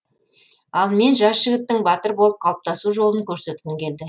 ал мен жас жігіттің батыр болып қалыптасу жолын көрсеткім келді